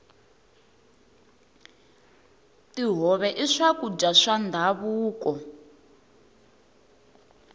tihove i swakudya swa ndhavuko